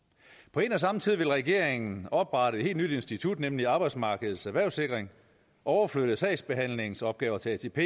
på en og samme tid vil regeringen oprette et helt nyt institut nemlig arbejdsmarkedets erhvervssikring overflytte sagsbehandlingsopgaver til atp